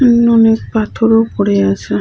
উম অনেক পাথরও পরে আছে।